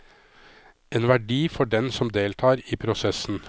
En verdi for den som deltar i prosessen.